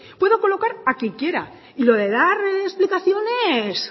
puedo colocar a quien quiera y lo de dar explicaciones